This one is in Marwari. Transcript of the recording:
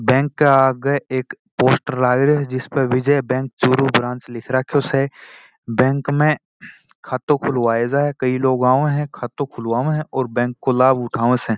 बैंक के आगे एक पोस्टर लाग रो स जिसमे विजय बैंक चूरू ब्रांच लिखा स बैंक में खाते खुलबाने कई लोग आए है बैंक में खाते खुलबाये है और बैंक का लाभ उठाया स।